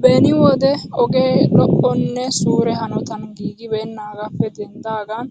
Beni wode ogee lo'onne suure hanotan giigibeennaagaappe denddidaagan